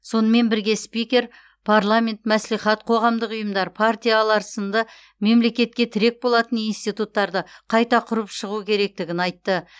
сонымен бірге спикер парламент мәслихат қоғамдық ұйымдар партиялар сынды мемлекетке тірек болатын институттарды қайта құрып шығу керектігін айтты